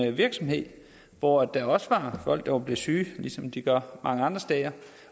en virksomhed hvor der også var folk der var blevet syge ligesom de gør mange andre steder